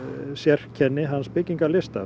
sérkenni hans